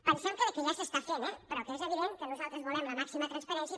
pensem que ja s’està fent eh però és evident que nosaltres volem la màxima transparència